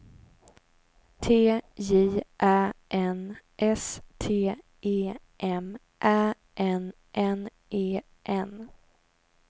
T J Ä N S T E M Ä N N E N